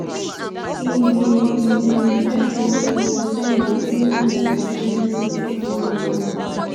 im be im be vice president between 1997 - 2001.